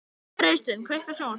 Freysteinn, kveiktu á sjónvarpinu.